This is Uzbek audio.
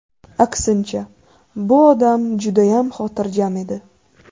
Aksincha, bu odam judayam xotirjam edi.